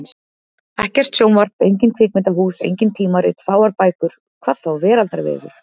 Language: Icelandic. Ekkert sjónvarp, engin kvikmyndahús, engin tímarit, fáar bækur. hvað þá veraldarvefur!